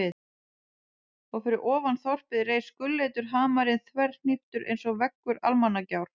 Og fyrir ofan þorpið reis gulleitur hamarinn þverhníptur einsog veggur Almannagjár.